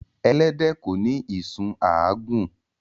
Elẹ́dẹ̀ ko ní ìsun àágún